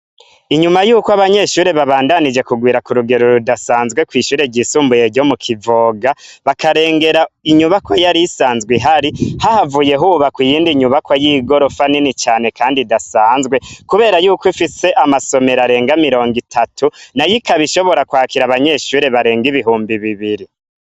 Inyuma yukw'abanyeshure babandanije kugwira kurugero rudasanzwe kw'ishure ryisumbuye ryo mu Kivoga, bakarengera inyubakwa yar'isanzwe ihari, hahavuye hubakwa iyindi nyubakwa y'igorofa nini cane kandi idasanzwe, kubera yuko ifise amasomero arenga mirongo itatu, nayo ikab'ishobora kwakira abanyeshure bareng'ibihumbi bibiri.